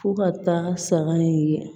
Fo ka taa saga in ye